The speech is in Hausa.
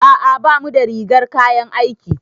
A'a bamu da rigar kayan aiki.